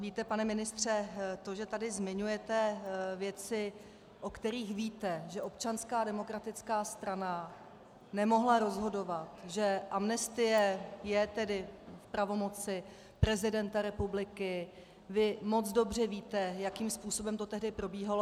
Víte, pane ministře, to, že tady zmiňujete věci, o kterých víte, že Občanská demokratická strana nemohla rozhodovat, že amnestie je tedy v pravomoci prezidenta republiky, vy moc dobře víte, jakým způsobem to tehdy probíhalo.